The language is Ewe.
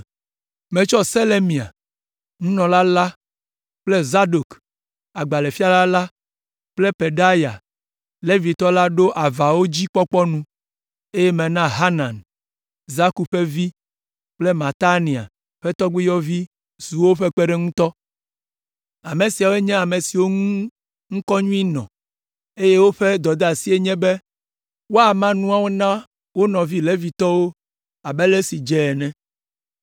Metsɔ Selemia, nunɔla la kple Zadok, agbalẽfiala la kple Pedaya, Levitɔ la ɖo avawo dzi kpɔkpɔ nu, eye mena Hanan, Zakur ƒe vi kple Matania ƒe tɔgbuiyɔvi zu woƒe kpeɖeŋutɔ. Ame siawo nye ame siwo ŋu ŋkɔ nyui nɔ, eye woƒe dɔdeasie nye be woama nuawo na wo nɔvi Levitɔwo abe ale si dze ene.